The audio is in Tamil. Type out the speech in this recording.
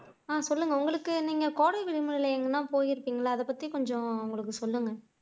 ஆஹ் சொல்லுங்க உங்களுக்கு நீங்க கோடை விடுமுறையில எங்கேயாவது போயிருக்கீங்களா அதைப்பத்தி கொஞ்சம் எங்களுக்கு சொல்லுங்க